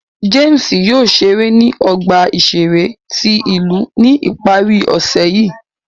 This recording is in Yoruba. James yóò ṣere ni ọgba iṣere ti ilu ni ipari ọse yii.